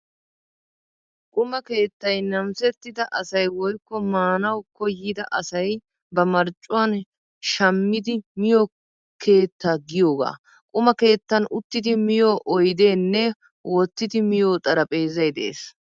Quma keettay namisettida asay woykko maanawu koyyida asay ba marccuwaan shammidi miyo keetta giyoogaa. Quma keettan uttidi miyo oydeenne wottidi miyo xarapheezzay de'ees.